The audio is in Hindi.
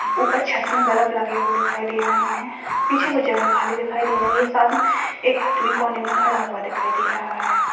ऊपर छत में बल्ब लगे हुए दिखाई दे रहे है पीछे कोई जगह खाली दिखाई दे रही है साथ में एक आदमी कोने में खड़ा हुआ दिखाई दे रहा है।